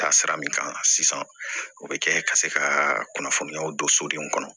Taa sira min kan sisan o bɛ kɛ ka se ka kunnafoniyaw don so de kɔnɔ